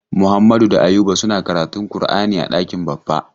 Muhammadu da Ayuba suna karantun kur'ani a ɗakin Baffa.